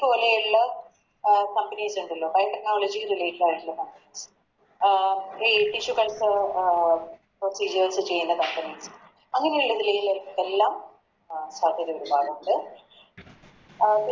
പോലെയുള്ള അഹ് Companies ഇണ്ടല്ലോ Fiber technology related ആയിട്ടുള്ള Company അഹ് ചെയ്യുന്ന Companies അങ്ങനെയുള്ളതി ലെല്ലാം അഹ് സാധ്യതയുണ്ടാവുന്നുണ്ട് അഹ്